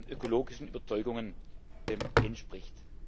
ökologischen Überzeugungen entspricht.